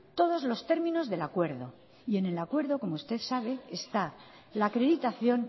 todos los términos del acuerdo y en el acuerdo como usted sabe está la acreditación